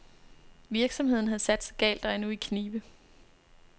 Virksomheden havde satset galt og er nu i knibe.